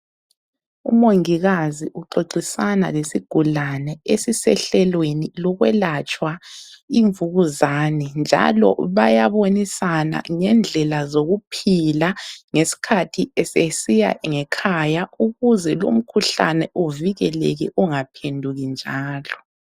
Umongikazi uxoxisana lesigulane esisehlelweni lokwelatshwa imvukuzane njalo bayabonisana ngendlela zokuphila ngesikhathi esesiya ngekhaya ukuze lumkhuhlane uvikeleke ungaphenduki njalo.